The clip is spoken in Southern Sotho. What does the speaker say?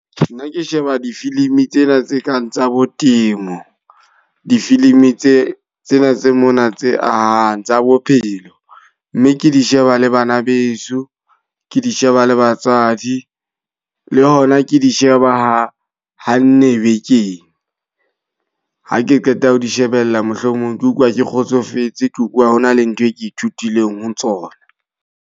Nna ke sheba difilimi tsena tse kang tsa bo temo. Difilimi tse tsena tse mona tse ahang, tsa bophelo. Mme ke di sheba le bana beso, ke di sheba le batswadi, le hona ke di sheba ha ha nne bekeng. Ha ke qeta ho di shebella mohlomong ke utlwa ke kgotsofetse, ke utlwa ho na le ntho e ke ithutileng ho tsona.